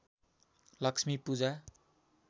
Lakshmi Puja